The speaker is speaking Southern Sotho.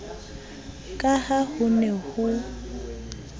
ka ha ho ne ho